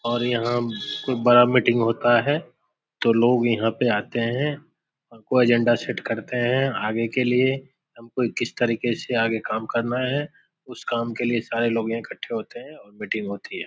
और यहाँ खूब बड़ा मीटिंग होता है तो लोग यहाँ पे आते हैं और कोई अजेंडा सेट करते हैं आगे के लिए। कोई किस तरीके से आगे काम करना है। उस काम के लिए सारे इकट्ठा होते हैं और मीटिंग होती है।